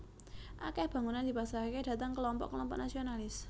Akèh bangunan dipasrahaké dhateng klompok klompok nasionalis